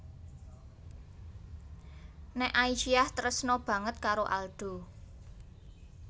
Nek Aisyah tresna banget karo Aldo